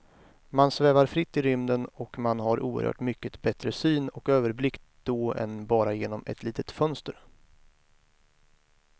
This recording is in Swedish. Man svävar fritt i rymden och man har oerhört mycket bättre syn och överblick då än bara genom ett litet fönster.